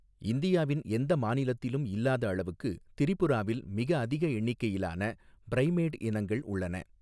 இந்தியாவின் எந்த மாநிலத்திலும் இல்லாத அளவுக்கு திரிபுராவில் மிக அதிக எண்ணிக்கையிலான ப்ரைமேட் இனங்கள் உள்ளன.